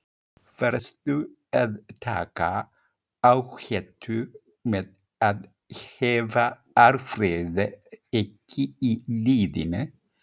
Varstu að taka áhættu með að hafa Alfreð ekki í liðinu?